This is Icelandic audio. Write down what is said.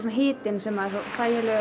hitinn sem er svo þægilegur